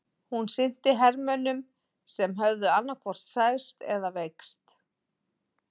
Hún sinnti hermönnum sem höfðu annaðhvort særst eða veikst.